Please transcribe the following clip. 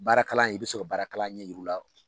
Baara kalan i bɛ se ka baara kalan ɲɛ yir'u la